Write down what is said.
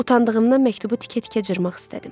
Utandığımdan məktubu tikə-tikə cırmaq istədim.